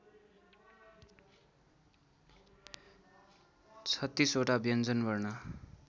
३६ वटा व्यञ्जनवर्ण